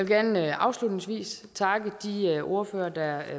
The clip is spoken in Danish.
gerne afslutningsvis takke de ordførere der